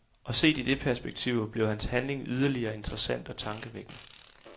Og set i det perspektiv bliver hans handling yderligere interessant og tankevækkende.